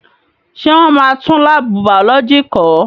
Ṣé wọ́n máa tún láàbù bàọ́lọ́jì kọ́?